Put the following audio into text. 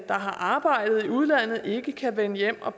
der har arbejdet i udlandet ikke kan vende hjem og